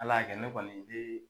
Al'a kɛ ne kɔni de